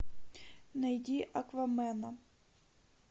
найди аквамена